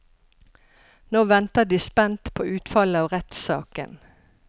Nå venter de spent på utfallet av rettssaken.